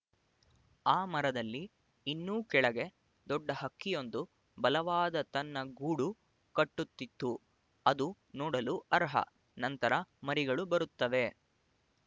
ಆ ಮರದಲ್ಲಿ ಇನ್ನೂ ಕೆಳಗೆ ದೊಡ್ಡ ಹಕ್ಕಿಯೊಂದು ಬಲವಾದ ತನ್ನ ಗೂಡು ಕಟ್ಟುತ್ತಿತು ಅದು ನೋಡಲು ಅರ್ಹ ನಂತರ ಮರಿಗಳು ಬರುತ್ತವೆ